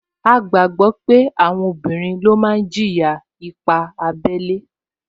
A gbàgbọ́ pé àwọn obìnrin ló máa jìyà ipá abẹ́lé